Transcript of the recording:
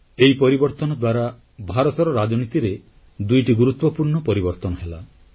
ଏହି ପରିବର୍ତ୍ତନ ଦ୍ୱାରା ଭାରତର ରାଜନୀତିରେ ଦୁଇଟି ଗୁରୁତ୍ୱପୂର୍ଣ୍ଣ ପରିବର୍ତ୍ତନ ହେଲା